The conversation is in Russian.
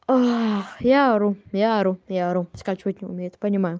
я ору я ору я ору скачивать не умеют понимаю